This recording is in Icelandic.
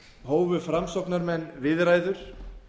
hófu framsóknarmenn viðræður